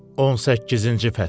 18-ci fəsil.